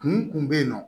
Kun tun bɛ yen nɔ